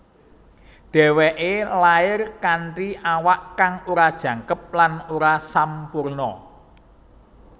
Dhèwèké lair kanthi awak kang ora jangkep lan ora sampurna